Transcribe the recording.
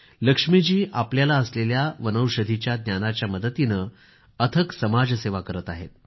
लक्ष्मीजी आपल्याला असलेल्या वनौषधीच्या ज्ञानाच्या मदतीने अथक समाजसेवा करत आहे